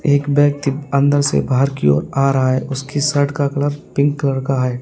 एक ब्यक्ति अंदर से बाहर की ओर आ रहा है उसकी शर्ट का कलर पिंक कलर का है।